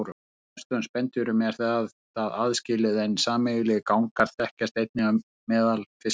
Hjá flestum spendýrum er þetta aðskilið en sameiginlegir gangar þekkjast einnig á meðal fiska.